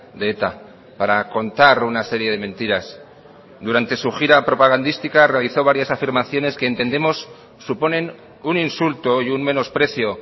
de eta para contar una serie de mentiras durante su gira propagandística realizó varias afirmaciones que entendemos suponen un insulto y un menosprecio